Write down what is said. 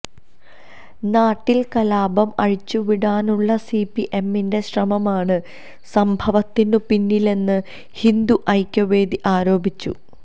നാട്ടില് കലാപം അഴിച്ചുവിടാനുള്ള സിപിഎമ്മിന്റെ ശ്രമമാണ് സംഭവത്തിനു പിന്നിലെന്ന് ഹിന്ദുഐക്യവേദി ആരോപിച്ചു